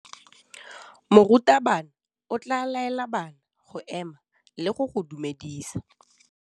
Morutabana o tla laela bana go ema le go go dumedisa.